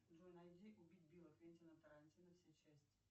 джой найди убить билла квентина тарантино все части